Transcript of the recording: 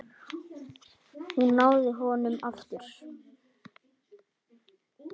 Hún náði honum aftur.